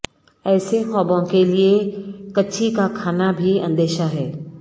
ایسے خوابوں کے لئے کچھی کا کھانا بھی اندیشہ ہے